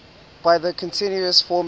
by the continuous formula